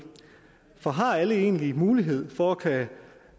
for har alle egentlig mulighed for at